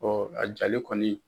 Ɔ a jalen kɔni.